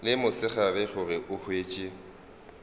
le mosegare gore o hwetše